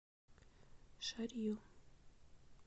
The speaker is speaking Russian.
шарью